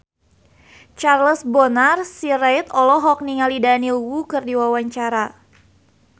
Charles Bonar Sirait olohok ningali Daniel Wu keur diwawancara